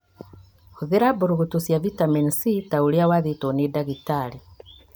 Hũthĩra mbũrũgũtũ cia Vitameni C ta ũrĩa wathĩrĩirwo nĩ ndagĩtarĩ